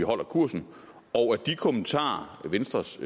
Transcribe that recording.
holder kursen og at de kommentarer venstres